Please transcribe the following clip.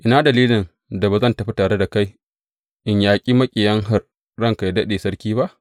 Ina dalilin da ba zan tafi tare da kai in yaƙi maƙiyin ranka yă daɗe, sarki ba?